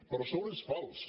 però a sobre és fals